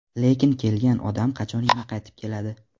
Lekin kelgan odam qachon yana qaytib keladi?